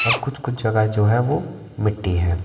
और कुछ-कुछ जगह जो हैं वो मिट्टी हैं।